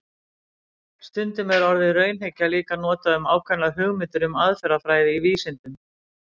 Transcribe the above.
Stundum er orðið raunhyggja líka notað um ákveðnar hugmyndir um aðferðafræði í vísindum.